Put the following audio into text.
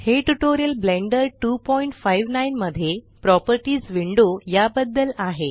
हे tutorial Blender 259 मध्ये properties window या बद्दल आहे